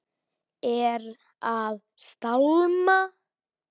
Er að stálma.